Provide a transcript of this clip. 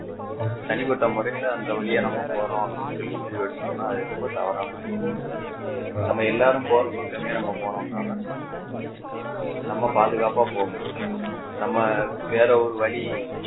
தனிப்பட்ட முறையில அந்த வழியா நம்ம போறோம் அப்படின்னு சொல்லி முடிவு எடுத்தோம்னா அது ரொம்ப தவறான செயல் நம்ம எல்லாரும் போற பக்கமே நம்ம போனோம்னா தான் நம்ம பாதுகாப்பா போக முடியும் நம்ம வேற ஒரு வழி